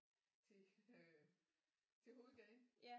Til øh hovedgaden